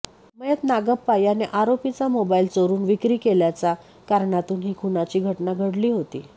मयत नागाप्पा याने आरोपीचा मोबाईल चोरून विक्री केल्याच्या कारणातून ही खूनाची घटना घडली होती